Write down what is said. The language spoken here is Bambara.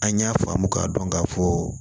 An y'a faamu k'a dɔn k'a fɔ